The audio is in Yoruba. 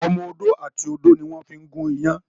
Ọmọ ọdọ àti odo ní wón fí gun iyán.